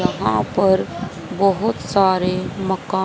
यहां पर बहोत सारे मकान--